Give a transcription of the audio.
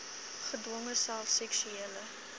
gedwonge self seksuele